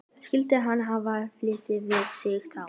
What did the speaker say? Skyldi hann hafa fitlað við sig þá?